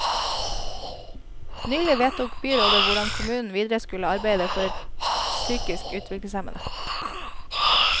Nylig vedtok byrådet hvordan kommunen videre skulle arbeide for psykisk utviklingshemmede.